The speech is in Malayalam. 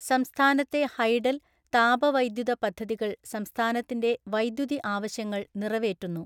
സംസ്ഥാനത്തെ ഹൈഡൽ, താപവൈദ്യുത പദ്ധതികൾ സംസ്ഥാനത്തിന്റെ വൈദ്യുതി ആവശ്യങ്ങൾ നിറവേറ്റുന്നു.